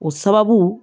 O sababu